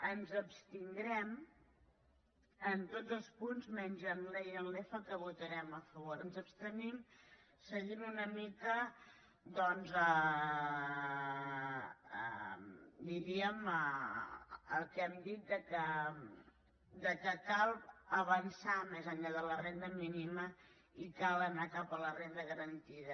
ens abstindrem en tots els punts menys en l’ens abstenim seguint una mica doncs diríem el que hem dit que cal avançar més enllà de la renda mínima i cal anar cap a la renda garantida